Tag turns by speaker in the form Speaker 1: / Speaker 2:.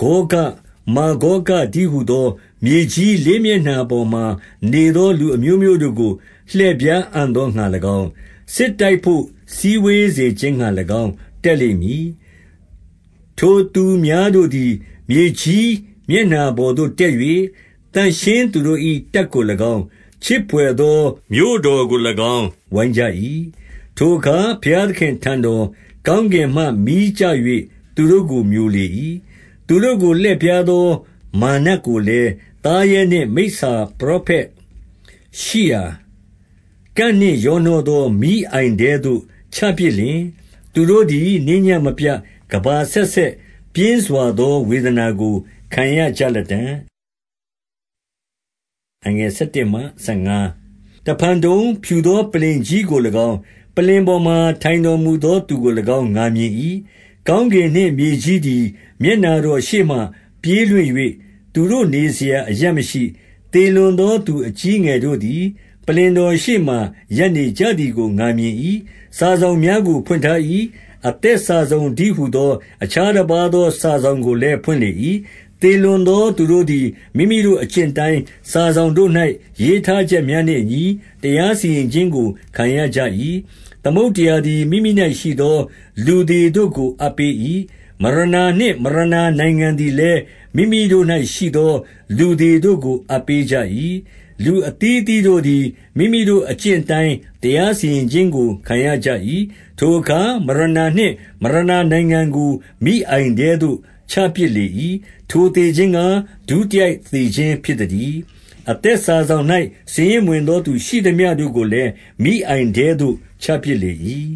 Speaker 1: ဂေါဂ၊ မာဂေါဂတည်းဟူသော မြေကြီး လေးမျက်နှာပေါ်မှာနေသော လူအမျိုးမျိုးတို့ကို လှည့်ဖြား အံ့သောငှာ၎င်း၊ စစ်တိုက်ဘို့ စည်းဝေးစေခြင်းငှာ၎င်း တက်လိမ့်မည်။ ထိုသူများတို့သည် မြေကြီးမျက်နှာပေါ်သို့ တက်၍၊ သန့်ရှင်းသူတို့၏တပ်ကို၎င်း၊ ချစ်ဘွယ်သော မြို့တော်ကို၎င်း၊ ဝိုင်းကြ၏။ ထိုအခါ ဘုရားသခင် အထံတော်၊ ကောင်းကင်မှ မီးကျ၍ သူတို့ကို မျိုလေ၏။ သူတို့ကိုလှည့်ဖြားသော မာရ်နတ်ကိုလည်း၊ သားရဲနှင့်မိစ္ဆာ ပရောဖက်ရှိရာ၊ ကန့်နှင့်ရောနှောသော မီးအိုင်ထဲသို့ ချပစ်လျှင်၊ သူတို့သည် နေညဉ့်မပြတ် ကမ္ဘာအဆက်ဆက် ပြင်းစွာသော ဝေဒနာကို ခံရကြ လတံ့။ တဖန်တုံ၊ ဖြူသောပလ္လင်ကြီကို၎င်း၊ ပလ္လင်ပေါ် မှာ ထိုင်တော်မူသောသူကို၎င်း ငါမြင်၏။ ကောင်းကင်နှင့် မြေကြီးသည် မျက်နှာတော်ရှေ့မှ ပြေးလွင့်၍ သူတို့ နေစရာအရပ်မရှိ။ သေလွန်သောသူ အကြီးအငယ်တို့သည် ပလ္လင် တော်ရှေ့မှာ ရပ်နကြသည်ကို ငါမြင်၏။ စာစောင်များ ကို ဖွင့်ထား၏ အသက်စာစောင်တည်းဟူသော အခြား တပါးသော စာစောင်ကိုလည်း ဖွင့်လေ၏။ သေလွန် သောသူတို့သည် မိမိတို့အကျင့်အတိုင်း၊ စာစောင်တို့၌ ရေးထားချက်များနှင့်အညီ တရားစီရင် ခြင်းကို ခံရကြ၏။ သမုဒ္ဒရာသည် မိမိ၌ရှိသော လူသေတို့ကို အပ်ပေး၏။ မရဏနှင့် မရဏနိုင်ငံသည်လည်း မိမိတို့၌ ရှိသော လူသေတို့ကို အပ်ပေးကြ၏။ လူအသီးအသီး တို့သည် မိမိတို့အကျင့်အတိုင်း တရားစီရင်ခြင်းကို ခံရ ကြ၏။ ထိုအခါ မရဏနှင့် မရဏနိုင်ငံကို မီးအိုင်ထဲသို့ ချပစ်လေ၏။ ထိုသေခြင်းကား ဒုတိယသေခြင်း ဖြစ် သတည်း။ အသက်စာစောင်၌ စာရင်းမဝင်သောသူ ရှိသမျှတို့ကိုလည်း မီးအိုင်ထဲသို့ ချပစ်လေ၏။